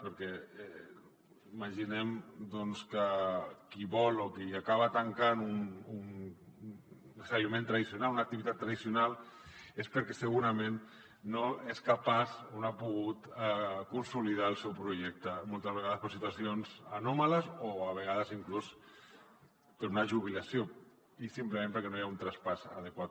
perquè imaginem doncs que qui vol o qui acaba tancant un establiment tradicional una activitat tradicional és perquè segurament no és capaç o no ha pogut consolidar el seu projecte moltes vegades per situacions anòmales o a vegades inclús per una jubilació i simplement perquè no hi ha un traspàs adequat